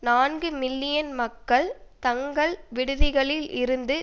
நான்கு மில்லியன் மக்கள் தங்கள் வீடுகளில் இருந்து